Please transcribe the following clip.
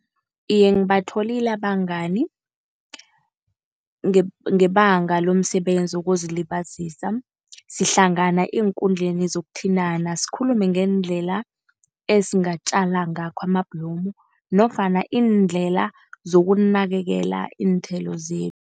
Iye ngibatholile abangani, ngebanga lomsebenzi wokuzilibazisa. Sihlangana eenkundleni zokuthintana, sikhulume ngeendlela esingatjala ngakho amabhlomu nofana iindlela zokunakekela iinthelo zethu.